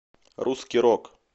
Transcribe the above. русский рок